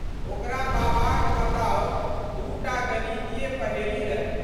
ओकरा बाबाक बताओल दू टा गणितीय पहेली रहै।